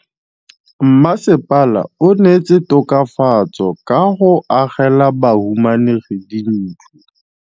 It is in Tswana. Mmasepala o neetse tokafatsô ka go agela bahumanegi dintlo.